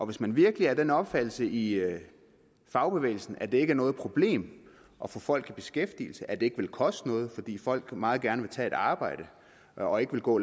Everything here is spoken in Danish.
hvis man virkelig er af den opfattelse i i fagbevægelsen at det ikke er noget problem at få folk i beskæftigelse og at det ikke vil koste noget fordi folk meget gerne vil tage et arbejde og ikke vil gå